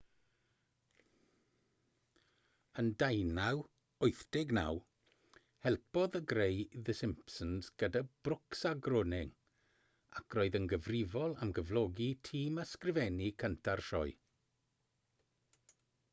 yn 1989 helpodd e greu the simpsons gyda brooks a groening ac roedd yn gyfrifol am gyflogi tîm ysgrifennu cynta'r sioe